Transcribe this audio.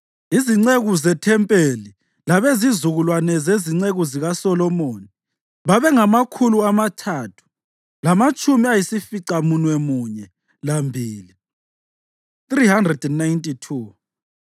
Izinceku zethempelini labezizukulwane zezinceku zikaSolomoni babengamakhulu amathathu lamatshumi ayisificamunwemunye lambili (392).